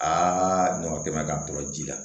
Aa ɲamantɛmɛn ka to ji la